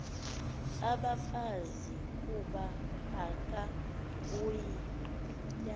abafazi kuba angabuya